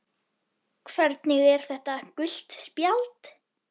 Hvernig er þetta gult spjald?